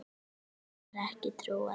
Þeim var ekki trúað.